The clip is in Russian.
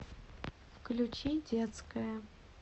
включи детская